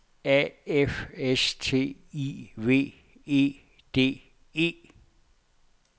A F S T I V E D E